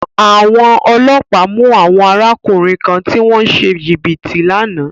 Àwọn ọlọ́pàá mú àwọn arákùnrin kan tí wọ́n ń ṣe jìbìtì lánàá.